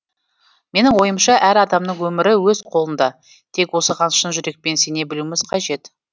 менің ойымша әр адамның өмірі өз қолында тек осыған шын жүрекпен сене білуіміз қажет